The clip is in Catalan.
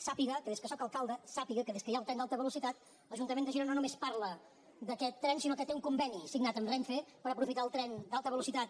sàpiga que des que sóc alcalde sàpiga que des que hi ha el tren d’alta velocitat l’ajuntament de girona no només parla d’aquest tren sinó que té un conveni signat amb renfe per aprofitar el tren d’alta velocitat